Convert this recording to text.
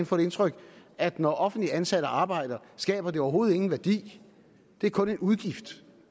få det indtryk at når offentligt ansatte arbejder skaber det overhovedet ingen værdi det er kun en udgift